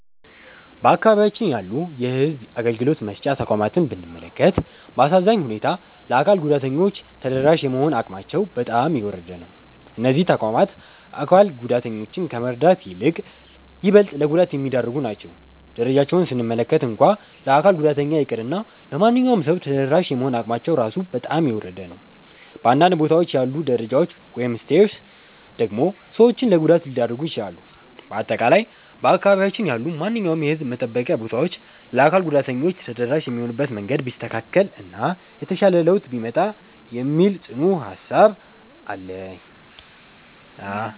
በአካባቢያችን ያሉ የሕዝብ አገልግሎት መስጫ ተቋማትን ብንመለከት፣ በአሳዛኝ ሁኔታ ለአካል ጉዳተኞች ተደራሽ የመሆን አቅማቸው በጣም የወረደ ነው። እነዚህ ተቋማት አካል ጉዳተኞችን ከመርዳት ይልቅ ይበልጥ ለጉዳት የሚዳርጉ ናቸው። ደረጃቸውን ስንመለከት እንኳን ለአካል ጉዳተኛ ይቅርና ለማንኛውም ሰው ተደራሽ የመሆን አቅማቸው ራሱ በጣም የወረደ ነው። በአንዳንድ ቦታዎች ያሉት ደረጃዎች (Stairs) ደግሞ ሰዎችን ለጉዳት ሊዳርጉ ይችላሉ። በአጠቃላይ በአካባቢያችን ያሉ ማንኛውም የሕዝብ መጠበቂያ ቦታዎች ለአካል ጉዳተኞች ተደራሽ የሚሆኑበት መንገድ ቢስተካከል እና የተሻለ ለውጥ ቢመጣ የሚል ጽኑ ሃሳብ አለኝ።